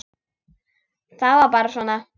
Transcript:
Það var bara svona.